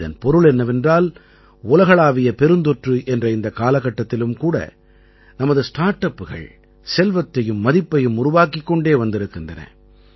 இதன் பொருள் என்னவென்றால் உலகளாவிய பெருந்தொற்று என்ற இந்த காலகட்டத்திலும் கூட நமது ஸ்டார்ட் அப்புகள் செல்வத்தையும் மதிப்பையும் உருவாக்கிக் கொண்டே வந்திருக்கின்றன